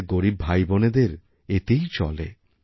আমাদেরগরীব ভাইবোনেদের এতেই চলে